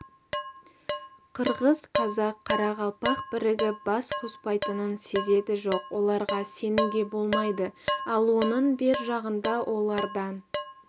қырғыз қазақ қарақалпақ бірігіп бас қоспайтынын сезеді жоқ оларға сенуге болмайды ал оның бер жағында олардан